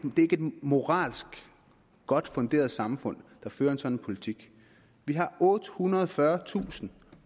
moralsk godt funderet samfund der fører en sådan politik vi har ottehundrede og fyrretusind